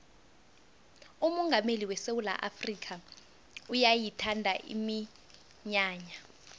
umongameli wesewula afrikha uyayithanda iminyanya